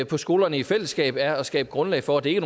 på skolerne i fællesskab er at skabe grundlag for at det ikke